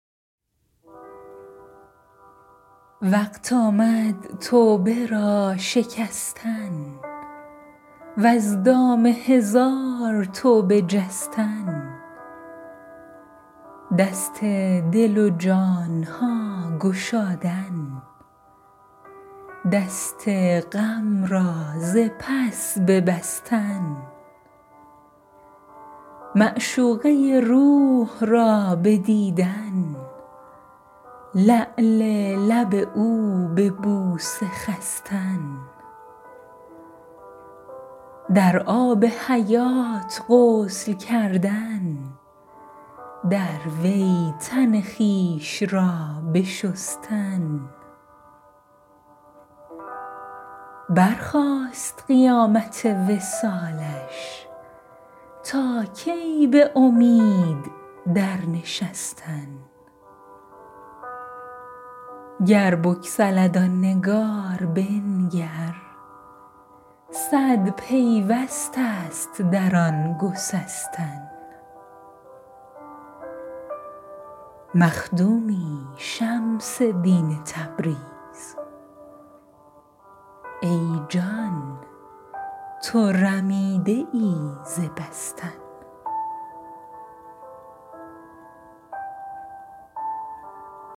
وقت آمد توبه را شکستن وز دام هزار توبه جستن دست دل و جان ها گشادن دست غم را ز پس ببستن معشوقه روح را بدیدن لعل لب او به بوسه خستن در آب حیات غسل کردن در وی تن خویش را بشستن برخاست قیامت وصالش تا کی به امید درنشستن گر بسکلد آن نگار بنگر صد پیوست است در آن سکستن مخدومی شمس دین تبریز ای جان تو رمیده ای ز بستن